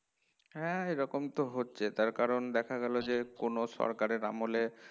হ্যাঁ এরকম তো হচ্ছেই তার কারণ দেখা গেল যে কোন সরকারের আমলে